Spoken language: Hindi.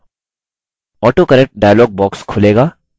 autocorrect dialog box खुलेगा